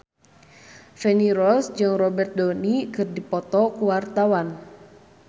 Feni Rose jeung Robert Downey keur dipoto ku wartawan